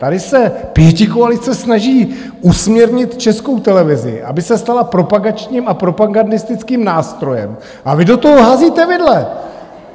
Tady se pětikoalice snaží usměrnit Českou televizi, aby se stala propagačním a propagandistickým nástrojem, a vy do toho házíte vidle!